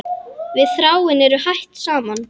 Við Þráinn eru hætt saman.